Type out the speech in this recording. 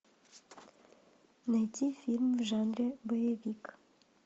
найти фильм в жанре боевик